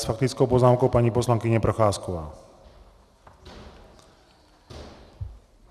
S faktickou poznámkou paní poslankyně Procházková.